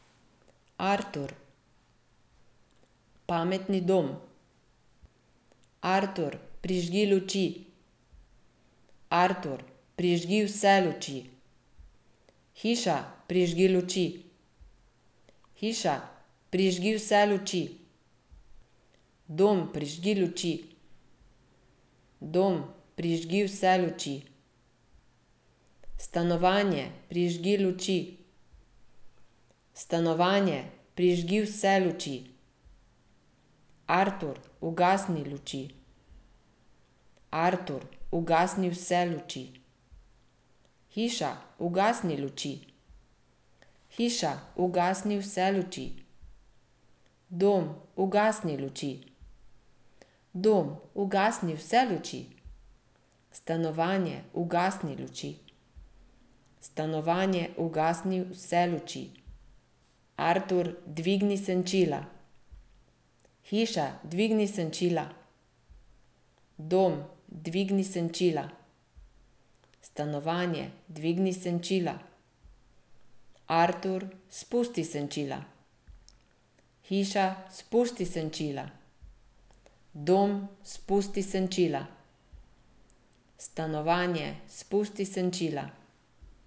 Artur. Pametni dom. Artur, prižgi luči. Artur, prižgi vse luči. Hiša, prižgi luči. Hiša, prižgi vse luči. Dom, prižgi luči. Dom, prižgi vse luči. Stanovanje, prižgi luči. Stanovanje, prižgi vse luči. Artur, ugasni luči. Artur, ugasni vse luči. Hiša, ugasni luči. Hiša, ugasni vse luči. Dom, ugasni luči. Dom, ugasni vse luči. Stanovanje, ugasni luči. Stanovanje, ugasni vse luči. Artur, dvigni senčila. Hiša, dvigni senčila. Dom, dvigni senčila. Stanovanje, dvigni senčila. Artur, spusti senčila. Hiša, spusti senčila. Dom, spusti senčila. Stanovanje, spusti senčila.